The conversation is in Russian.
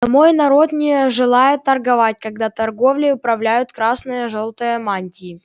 мой народ не желает торговать когда торговлей управляют красно-желтые мантии